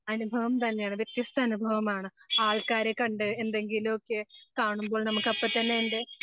അനുഭവം തന്നെയാണ് വ്യത്യസ്ത അനുഭവമാണ്. ആൾക്കാരെ കണ്ട് എന്തെങ്കിലുവൊക്കെ കാണുമ്പോൾ നമുക്ക് അപ്പൊ തന്നെ അതിൻ്റെ